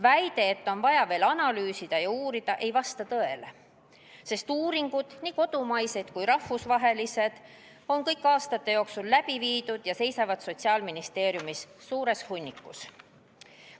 Väide, et on vaja veel analüüsida ja uurida, ei vasta tõele, sest uuringuid, nii kodumaiseid kui rahvusvahelisi, on aastate jooksul palju läbi viidud ja nende materjalid seisavad Sotsiaalministeeriumis suures hunnikus.